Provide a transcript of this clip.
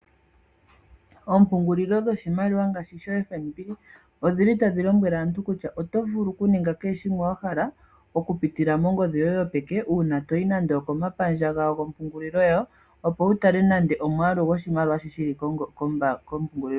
Ompungulilo dhoshimaliwa ngaashi dhoFnb odhili tadhi lombwele aantu kutua otovulu okuninga kehe shimwe wahala okupitila mongodhi yoye yopeke uuna toyi nande okaomapandja gawo gompungulilo gawo opo wutale nande omwalu goshimaliwa guli kombanga yoye.